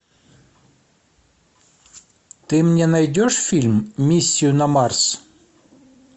ты мне найдешь фильм миссию на марс